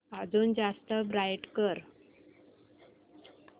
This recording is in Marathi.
अजून जास्त ब्राईट कर